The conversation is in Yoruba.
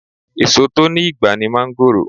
Èsò tó ní ìgbà ní máńgòrò